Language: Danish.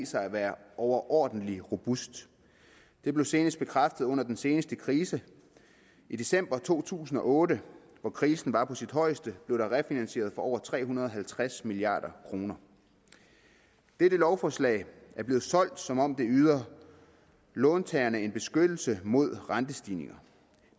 sig at være overordentlig robust det blev senest bekræftet under den seneste krise i december to tusind og otte hvor krisen var på sit højeste blev der refinansieret for over tre hundrede og halvtreds milliard kroner dette lovforslag er blevet solgt som om det yder låntagerne en beskyttelse mod rentestigninger